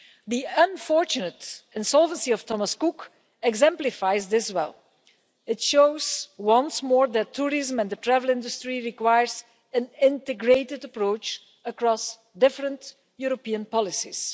The unfortunate insolvency of Thomas Cook exemplifies this well it shows once more that tourism and the travel industry require an integrated approach across different European policies.